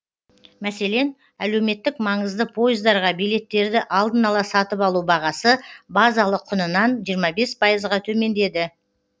мәселен әлеуметтік маңызды пойыздарға билеттерді алдын ала сатып алу бағасы базалық құнынан жиырма бес пайызға төмендеді